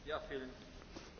Herr Präsident!